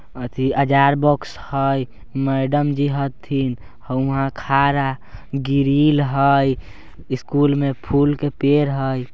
अथी अजार बॉक्स हय मैडम जी हथिन हो उहां खारा गिरील हय स्कूल में फूल के पेड़ हय।